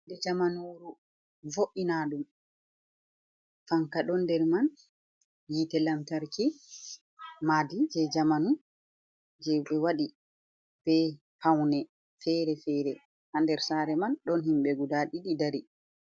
Jamanu vo’inaɗum fanka ɗon nder man yite lantarki madi je zamanu je be waɗi be paune fere-fere ha nder sare man ɗon himɓe guda ɗiɗi dari.